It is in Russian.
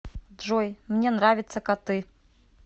джой мне нравятся коты